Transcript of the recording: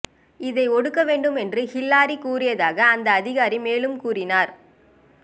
இதை ஒடுக்க வேண்டும் என்றும் ஹில்லாரி கூறியதாக அந்த அதிகாரி மேலும் கூறினார்